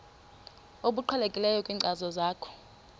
obuqhelekileyo kwinkcazo yakho